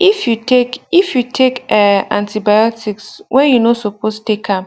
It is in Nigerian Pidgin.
if you take if you take um antibiotics when you no suppose take am